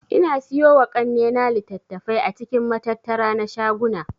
Ina siyowa kannena litattafai a cikin matattara na shaguna